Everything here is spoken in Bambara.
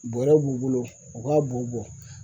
Bɔrɛ b'u bolo u k'a b'u bɔ